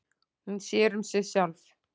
Hún sér um sig sjálf.